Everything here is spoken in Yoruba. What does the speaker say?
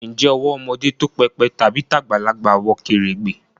Ǹjẹ́ owó ọmọdé tó pépè tàbí tagbalagbà wọ kèrègbè?